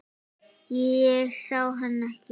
Ég sá hann ekki.